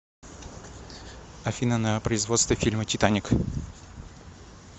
афина на производство фильма титаник